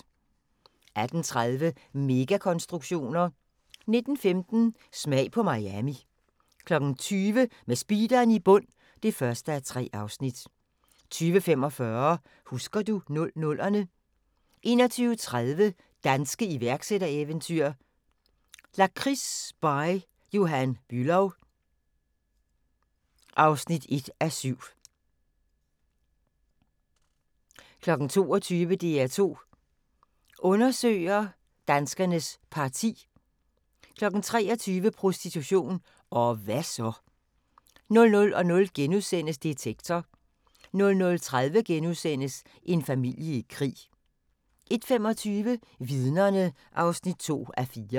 18:30: Megakonstruktioner 19:15: Smag på Miami 20:00: Med speederen i bund (1:3) 20:45: Husker du 00'erne 21:30: Danske iværksættereventyr – Lakrids By Johan Bülow (1:7) 22:00: DR2 Undersøger: Danskernes Parti 23:00: Prostitution – og hva' så? 00:00: Detektor * 00:30: En familie i krig * 01:25: Vidnerne (2:4)